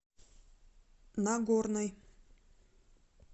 нагорной